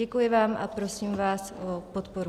Děkuji vám a prosím vás o podporu.